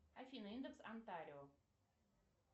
афина индекс антарио